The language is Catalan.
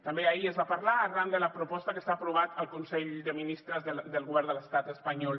també ahir es va parlar arran de la proposta que s’ha aprovat al consell de ministres del govern de l’estat espanyol